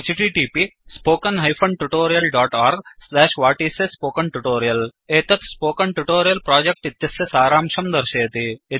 1 एतत् spoken tutorial project इत्यस्य सारांशं दर्शयति